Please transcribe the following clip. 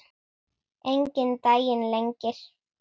Enginn daginn lengir.